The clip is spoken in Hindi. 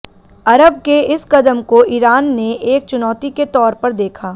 अरब के इस कदम को ईरान ने एक चुनौती के तौर पर देखा